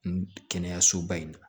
N kɛnɛyasoba in na